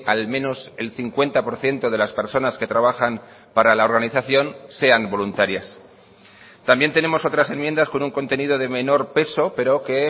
al menos el cincuenta por ciento de las personas que trabajan para la organización sean voluntarias también tenemos otras enmiendas con un contenido de menor peso pero que